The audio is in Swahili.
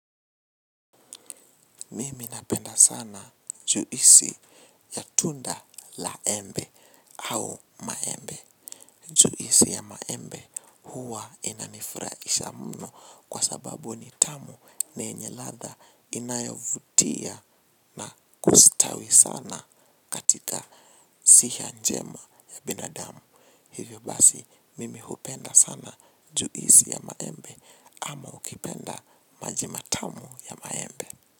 Mimi napenda sana juisi ya tunda la embe au maembe. Juisi ya maembe huwa inanifurahisha mno kwa sababu ni tamu niyenye ladha inayovutia na kustawi sana katika siha njema ya binadamu. Hivyo basi mimi hupenda sana juisi ya maembe ama ukipenda maji matamu ya maembe.